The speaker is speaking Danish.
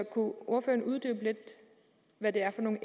ordføreren uddybe lidt hvad det er for nogle